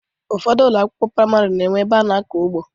Ụfọdụ ụlọ akwụkwọ priamarị na enwe ebe ana akọ ugbo.